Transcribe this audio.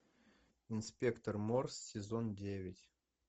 инспектор морс сезон девять